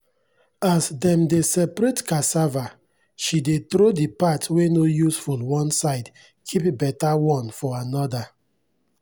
as dem dey separate cassava she dey throw the part wey no useful one side keep better one for another.